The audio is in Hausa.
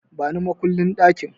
Bani makullin ɗakin!